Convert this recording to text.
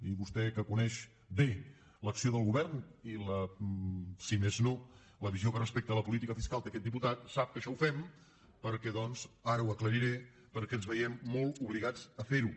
i vostè que coneix bé l’acció del govern i si més no la visió que respecte a la política fiscal té aquest diputat sap que això ho fem perquè doncs ara ho aclariré ens veiem molt obligats a ferho